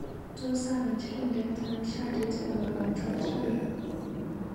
Tos alach rindet anan shatit nebo kaotyat rani?